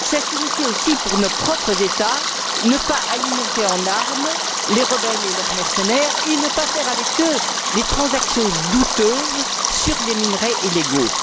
Cela signifie aussi, pour nos propres États, ne pas alimenter en armes les rebelles et leurs mercenaires et ne pas effectuer avec eux des transactions douteuses sur des minerais illégaux.